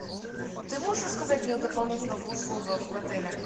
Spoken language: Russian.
ты можешь рассказать мне о дополнительных услугах в отеле